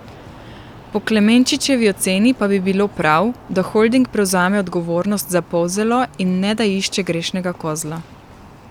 Po Klemenčičevi oceni pa bi bilo prav, da holding prevzame odgovornost za Polzelo in ne da išče grešnega kozla.